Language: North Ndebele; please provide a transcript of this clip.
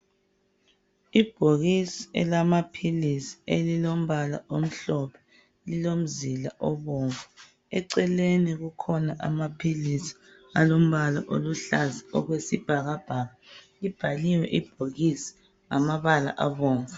Ibhokisi elamaphilisi elilombala omhlophe elilo mzila obomvu. Eceleni kukhona amaphilisi alombala oluhlaza okwesibhakabhaka. Libhaliwe ibhokisi ngamabala abomvu.